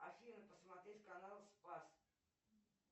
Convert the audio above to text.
афина посмотреть канал спас